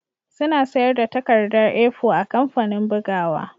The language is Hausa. Suna sayar da takarda A4 a kamfanin bugawa